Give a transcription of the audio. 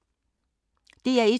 DR1